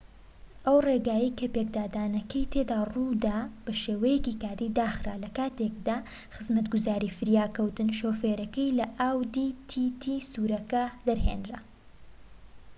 ئەو ڕێگایەی کە پێکدادانەکەی تێدا ڕوودا بە شێوەیەکی کاتی داخرا لە کاتێکدا خزمەتگوزاری فریاکەوتن شۆفێرەکەی لە ئاودی تی تی سوورەکە دەرهێنا